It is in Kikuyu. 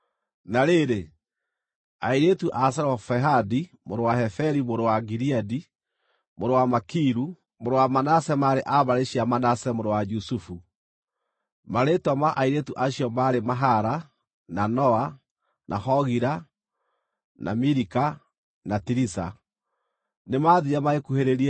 Na rĩrĩ, airĩtu acio a Zelofehadi mũrũ wa Heferi mũrũ wa Gileadi, mũrũ wa Makiru, mũrũ wa Manase maarĩ a mbarĩ cia Manase mũrũ wa Jusufu. Marĩĩtwa ma airĩtu acio maarĩ Mahala, na Noa, na Hogila, na Milika, na Tiriza. Nĩmathiire, magĩkuhĩrĩria